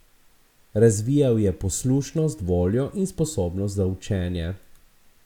Razvijal je poslušnost, voljo in sposobnost za učenje.